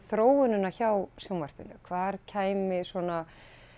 þróunina hjá sjónvarpinu hvar kæmi svona